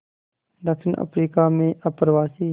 दक्षिण अफ्रीका में अप्रवासी